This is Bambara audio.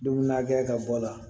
Dumuni na kɛ ka bɔ a la